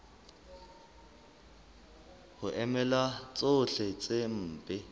ho emela tsohle tse mpe